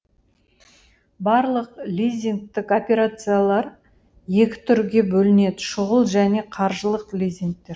барлық лизингтік операциялар екі түрге бөлінеді шұғыл және қаржылық лизингтер